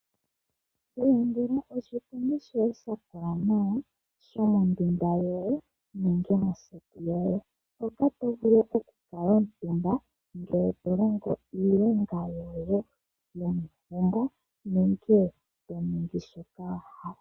Ilandela oshipundi shoye sha kola nawa shomondunda yoye nenge moseti yoye. Oto vulu okushi kuutumba ngele to longo iilonga yoye yomegumbo nenge yomongeshefa yoye.